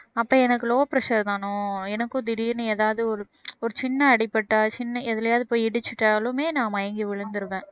அப்ப எனக்கு low pressure தானோ எனக்கும் திடீர்ன்னு ஏதாவது ஒரு ஒரு சின்ன அடி பட்டா சின்ன எதுலயாவது போய் இடிச்சுட்டாலுமே நான் மயங்கி விழுந்துருவேன்